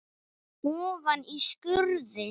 Ofan í skurði.